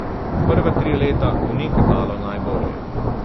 Prva tri leta mu ni kazalo najbolje.